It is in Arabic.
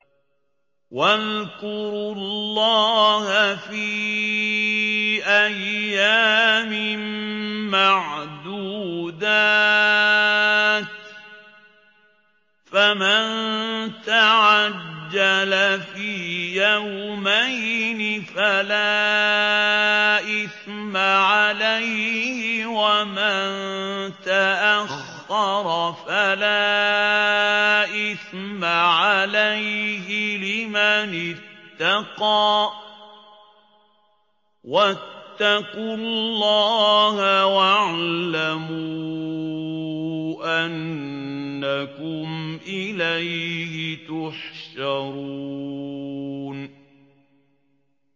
۞ وَاذْكُرُوا اللَّهَ فِي أَيَّامٍ مَّعْدُودَاتٍ ۚ فَمَن تَعَجَّلَ فِي يَوْمَيْنِ فَلَا إِثْمَ عَلَيْهِ وَمَن تَأَخَّرَ فَلَا إِثْمَ عَلَيْهِ ۚ لِمَنِ اتَّقَىٰ ۗ وَاتَّقُوا اللَّهَ وَاعْلَمُوا أَنَّكُمْ إِلَيْهِ تُحْشَرُونَ